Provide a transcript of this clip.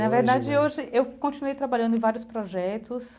Na verdade hoje eu continuei trabalhando em vários projetos.